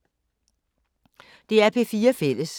DR P4 Fælles